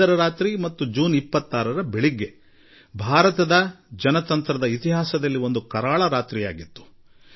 25ರ ರಾತ್ರಿ ಹಾಗೂ ಮಾರನೇ ಬೆಳಗ್ಗಿನ ಅವಧಿ ಭಾರತದ ಪ್ರಜಾಪ್ರಭುತ್ವಕ್ಕೆ ಒಂದು ಕರಾಳ ಕಾಲವಾಗಿತ್ತು